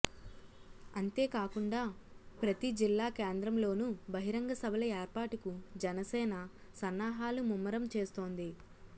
అంతేకాకుండా ప్రతి జిల్లాకేంద్రంలోనూ బహిరంగ సభల ఏర్పాటుకు జనసేన సన్నాహాలు ముమ్మరం చేస్తోంది